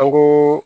An ko